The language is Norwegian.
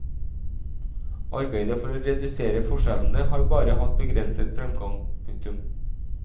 Arbeidet for å redusere forskjellene har bare hatt begrenset fremgang. punktum